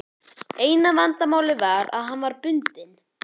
Eina vandamálið var að hann var bundinn.